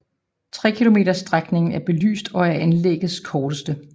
Trekilometersstrækningen er belyst og er anlæggets korteste